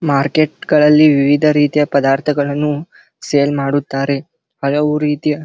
market ಗಳಲ್ಲಿ ವಿವಿಧ ರೀತಿಯ ಪದಾರ್ಥಗಳನ್ನು ಸೇಲ್ ಮಾಡುತ್ತಾರೆ ಹಲವು ರೀತಿಯ --